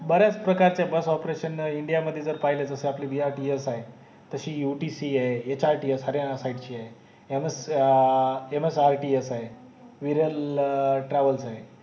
बऱ्याच प्रकारचे bus operation india मध्ये पाहिले तर जस आपले VRTS आहे तसे UTC आहे HRTS हया ऱ्या सैदे ची आहे MS MSRT आह आहे विरल TRAVALSE आहे